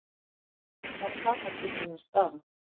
Hvar er fatakistan hans Daða?